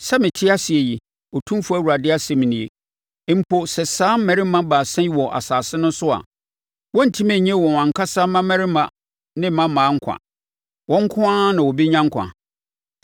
sɛ mete ase yi, Otumfoɔ Awurade asɛm nie, mpo sɛ saa mmarima baasa yi wɔ asase no so a, wɔrentumi nnye wɔn ankasa mmammarima ne mmammaa nkwa. Wɔn nko ara na wɔbɛnya nkwa.